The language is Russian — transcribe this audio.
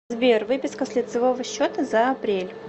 сбер выписка с лицевого счета за апрель